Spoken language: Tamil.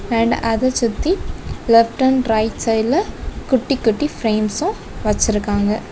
பெயிண்ட அத சுத்தி லெப்ட் அண்ட் ரைட் சைடுல குட்டி குட்டி ஃபிரேம்ஸ்ஸு வச்சிருக்காங்க.